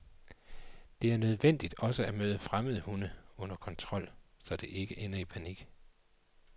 Det er nødvendigt også at møde fremmede hunde, under kontrol, så det ikke ender i panik.